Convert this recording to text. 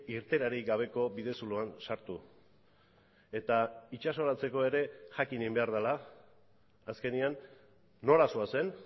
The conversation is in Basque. irteerarik gabeko bidezuloan sartu eta itsasoratzeko ere jakin egin behar dela azkenean nora zoazen